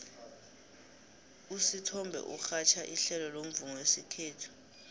usithombe urhatjha ihlelo lomvumo wesikhethu